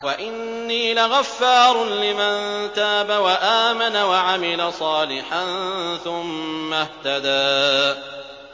وَإِنِّي لَغَفَّارٌ لِّمَن تَابَ وَآمَنَ وَعَمِلَ صَالِحًا ثُمَّ اهْتَدَىٰ